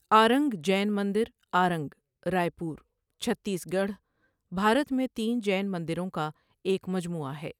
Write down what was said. Ironing Jain مندر Arang, Raipur, Chhattisgarh, Bharat میں تین جین مندروں کا ایک مجموعہ ہے۔